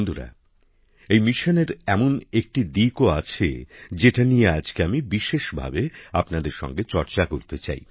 বন্ধুরা এই মিশনের এমন একটি দিকও আছে যেটি নিয়ে আজকে আমি বিশেষভাবে আপনাদের সঙ্গে চর্চা করতে চাই